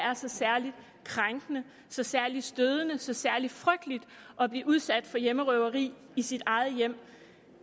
er så særlig krænkende så særlig stødende så særlig frygteligt at blive udsat for hjemmerøverier i sit eget hjem